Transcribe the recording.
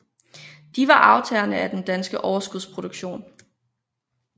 De var aftagerne af den danske overskudsproduktion